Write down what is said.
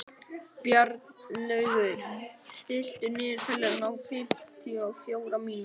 Bjarnlaugur, stilltu niðurteljara á fimmtíu og fjórar mínútur.